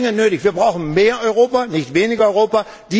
Die ist dringend nötig, wir brauchen mehr Europa und nicht weniger Europa.